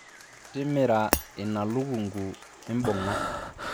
timira ina lukunku imbunga